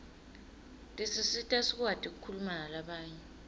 tisisita sikwati kukhuluma nalabanye